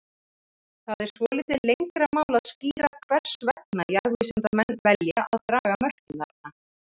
Það er svolítið lengra mál að skýra hvers vegna jarðvísindamenn velja að draga mörkin þarna.